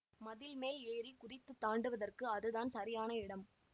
மதிள் மேல் ஏறி குதித்துத் தாண்டுவதற்கு அதுதான் சரியான இடம்